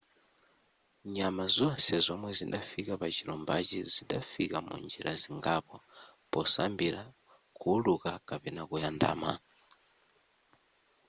nyama zonse zomwe zidafika pachilumbachi zidafika munjira zingapo posambira kuwuluka kapena kuyandama